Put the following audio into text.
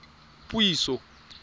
puiso